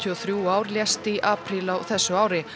og þrjú ár lést í apríl á þessu ári